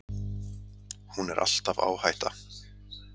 Hún er alltaf áhætta.